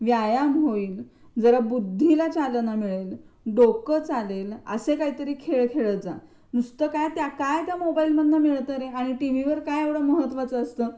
व्यायाम होईल, जरा बुद्धीला चालना मिळेल, डोक चालेल असं काहीतरी खेळ खेळत जा. नुसतं काय त्या काय त्या मोबाईल मधून काय मिळत रे आणि टीव्ही वर येवढ काय महत्त्वाचा असत?